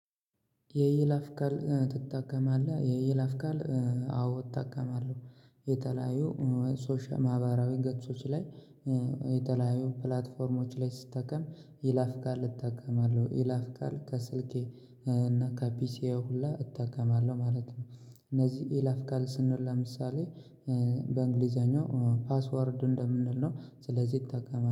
የይለፍ ቃል ትጠቀማለህ? የይለፍ ቃል አዎ እጠቀማለሁ። የተለያዩ ማህበራዊ ገጾች ላይ። የተለያዩ ፕላትፎርሞች ላይ ስጠቀም ይለፍ ቃል እጠቀማለሁ ይለፍ ቃል ከስልኬ እና ከፒሲየ ሁላ እጠቀማለሁ ማለት ነው። እነዚህ ይለፍ ቃል ስንል ለምሳሌ በእንግሊዘኛው ፓስወርድ እንደምንል ነው። ስለዚህ ይጠቀማል